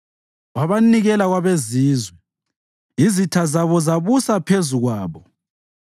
Wabanikela kwabezizwe, izitha zabo zabusa phezu kwabo.